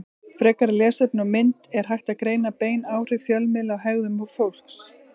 Frekara lesefni og mynd Er hægt að greina bein áhrif fjölmiðla á hegðun fólks?